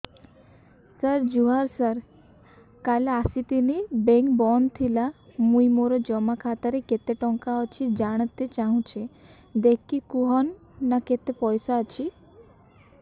ସାର ଜୁହାର ସାର କାଲ ଆସିଥିନି ବେଙ୍କ ବନ୍ଦ ଥିଲା ମୁଇଁ ମୋର ଜମା ଖାତାରେ କେତେ ଟଙ୍କା ଅଛି ଜାଣତେ ଚାହୁଁଛେ ଦେଖିକି କହୁନ ନା କେତ ପଇସା ଅଛି